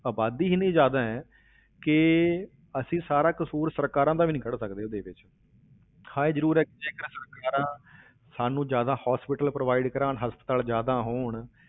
ਆਬਾਦੀ ਇੰਨੀ ਜ਼ਿਆਦਾ ਹੈ ਕਿ ਅਸੀਂ ਸਾਰਾ ਕਸ਼ੂਰ ਸਰਕਾਰਾਂ ਦਾ ਵੀ ਨੀ ਕੱਢ ਸਕਦੇ ਇਹਦੇ ਵਿੱਚ ਹਾਂ ਇਹ ਜ਼ਰੂਰ ਕਿ ਜੇਕਰ ਸਰਕਾਰਾਂ ਸਾਨੂੰ ਜ਼ਿਆਦਾ hospital provide ਕਰਵਾਉਣ, ਹਸਪਤਾਲ ਜ਼ਿਆਦਾ ਹੋਣ